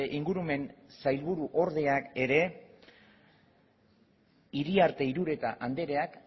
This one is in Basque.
ingurumen sailburuordeak ere iriarte irureta andereak